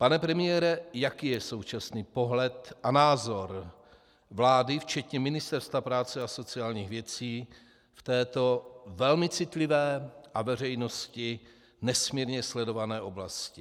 Pane premiére, jaký je současný pohled a názor vlády včetně Ministerstva práce a sociálních věcí v této velmi citlivé a veřejností nesmírně sledované oblasti?